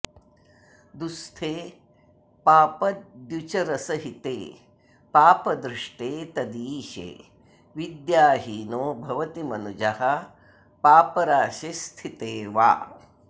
दुःस्थे पापद्युचरसहिते पापदृष्टे तदीशे विद्याहीनो भवति मनुजः पापराशिस्थिते वा